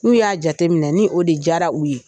N'u y'a jateminɛ ni o de diyara u ye.